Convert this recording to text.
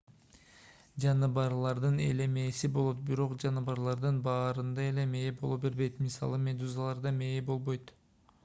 жаныбарлардын эле мээси болот бирок жаныбарлардын баарында эле мээ боло бербейт; мисалы медузаларда мээ болбойт